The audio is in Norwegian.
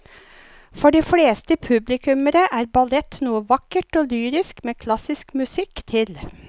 For de fleste publikummere er ballett noe vakkert og lyrisk med klassisk musikk til.